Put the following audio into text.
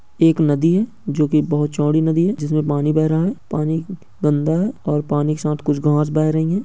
एक नदी है जो की बहुत चौड़ी नदी है जिसमे पानी बेह रहा है | पानी गंदा है और पानी के साथ कुछ घांस बेह रहीं हैं।